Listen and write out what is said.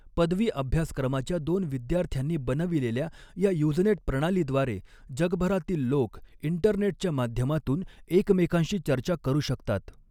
पदवी अभ्यासक्रमाच्या दोन विद्यार्थ्यांनी बनविलेल्या या यूज़नेट प्रणालीद्वारे जगभरातील लोक इंटरनेटच्या माध्यमातून एकमेकांशी चर्चा करू शकतात.